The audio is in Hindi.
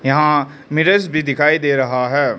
यहां मिरर्स भी दिखाई दे रहा है।